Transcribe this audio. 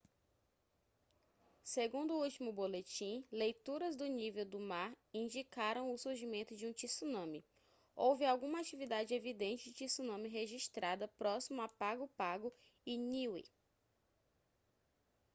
segundo o último boletim leituras do nível do mar indicaram o surgimento de um tsunami houve alguma atividade evidente de tsunami registrada próximo a pago pago e niue